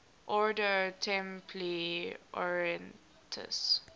ordo templi orientis